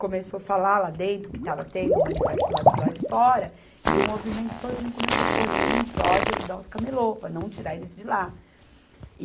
Começou falar lá dentro que estava tendo, o manifesto do lado, do lado de fora, e o movimento todinho começou correr em prol de ajudar os camelô, para não tirar eles de lá.